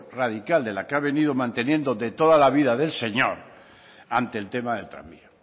radical de la que ha venido manteniendo de toda la vida del señor ante el tema del tranvía